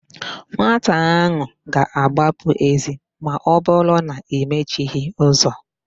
Nwata áhụ̀ ga-agbapụ èzí ma ọbụrụ na i mechighị ụzọ.